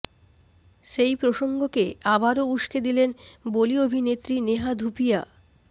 সেই প্রসঙ্গকে আবারও উস্কে দিলেন বলি অভিনেত্রী নেহা ধুপিয়া